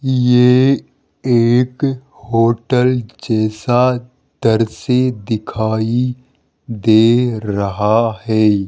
ये एक होटल जैसा दृश्य दिखाई दे रहा है।